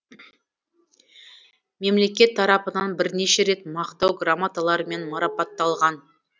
мемлекет тарапынан бірнеше рет мақтау грамоталарымен марапатталған